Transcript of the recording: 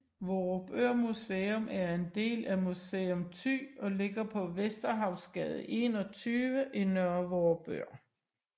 Vorupør Museum er en del af Museum Thy og ligger på Vesterhavsgade 21 i Nørre Vorupør